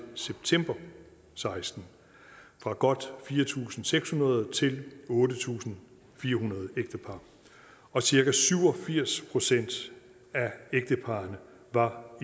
september og seksten fra godt fire tusind seks hundrede til otte tusind fire hundrede ægtepar og cirka syv og firs procent af ægteparrene var